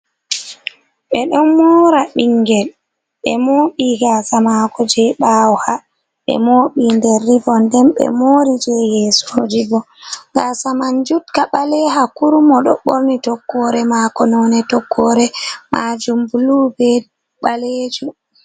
Ɓe ɗon mora ɓingel ɓe mobi gasa mako je ɓawo ha, be moɓi nder rivom, den ɓe mori je yesoji bo, gasa man jukka ɓaleha kurum o ɗo ɓorni toggore mako none toggore majum blu be ɓalejum.